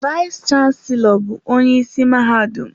Vayis chansilọ bụ onye isi mahadum.